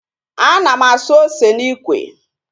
Ana m asụ ose n'ikwe